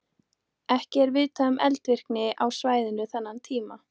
Ekki er vitað um eldvirkni á svæðinu þennan tíma.